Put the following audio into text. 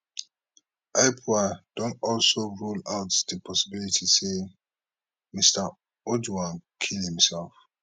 ipoa don also rule out di possibility say mr ojwang kill himself